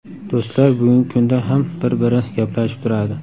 Do‘stlar bugungi kunda ham bir-biri gaplashib turadi.